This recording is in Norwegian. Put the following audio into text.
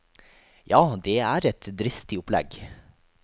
Ja, det er et dristig opplegg.